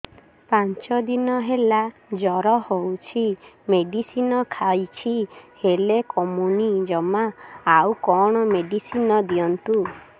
ପାଞ୍ଚ ଦିନ ହେଲା ଜର ହଉଛି ମେଡିସିନ ଖାଇଛି ହେଲେ କମୁନି ଜମା ଆଉ କଣ ମେଡ଼ିସିନ ଦିଅନ୍ତୁ